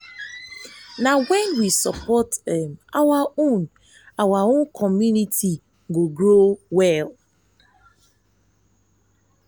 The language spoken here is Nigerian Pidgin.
na wen we support um our own our community um go grow well.